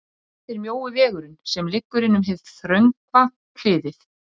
Nú er hann framkvæmdastjóri